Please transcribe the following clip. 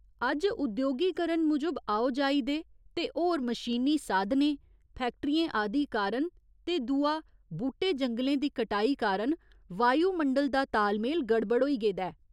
अज्ज उद्योगीकरण मूजब आओ जाई दे ते होर मशीनी साधनें, फैक्टरियें आदि कारण ते दूआ बूह्टे जंगलें दी कटाई कारण वायुमंडल दा तालमेल गड़बड़ होई गेदा ऐ।